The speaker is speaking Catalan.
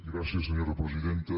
gràcies senyora presidenta